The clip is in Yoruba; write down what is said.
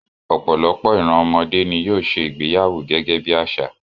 Ọ̀pọ̀lọpọ̀ ìran ọmọdé ni yóò ṣe ìgbéyàwó gẹ́gẹ́ bí àṣà